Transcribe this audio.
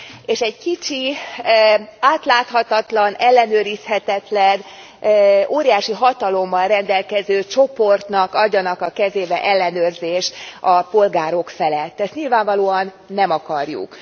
és egy kicsi, átláthatatlan, ellenőrizhetetlen, óriási hatalommal rendelkező csoportnak adjanak a kezébe ellenőrzést a polgárok felett ezt nyilvánvalóan nem akarjuk.